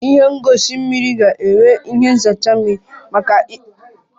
Ihe ngosi mmiri ga-enwe ihe nzacha mmiri maka mmezi nke ịdị ọcha dị mma na mmiri dị ọcha